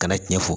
Kana tiɲɛ fɔ